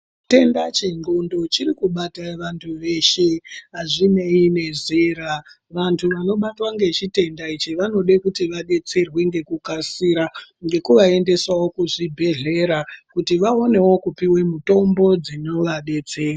Chitenda che ndxondo chiri kubata vantu veshe azvinei ne zera vantu vano batwa nge chitenda ichi vanode kuti vadetserwe ngeku kasira ngeku vaendesawo ku zvibhedhlera kuti vaonewo kupiwe mitombo dzino vadetsera.